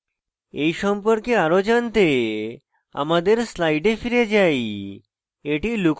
এই সম্পর্কে আরো জানতে আমাদের slides ফিরে যাই